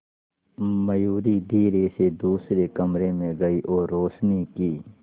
मयूरी धीरे से दूसरे कमरे में गई और रोशनी की